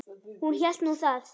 Hún hélt nú það.